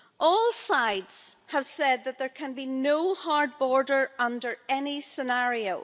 All sides have said that there can be no hard border under any scenario.